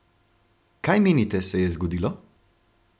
Kaj menite, se je zgodilo?